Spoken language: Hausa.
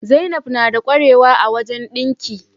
Zainab nada qwarewa a wajan dinki